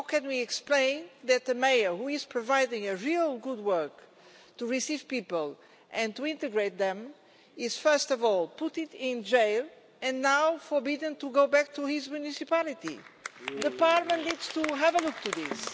How can we explain that the mayor, who is providing a real good work to receive people and to integrate them, is first of all put in jail and now forbidden to go back to his municipality? The Parliament needs to have a look at this.